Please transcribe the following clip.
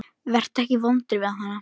Vertu ekki vondur við hana.